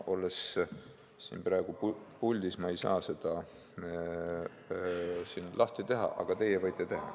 Olles praegu puldis, ma ei saa seda siin lahti teha, aga teie võite teha.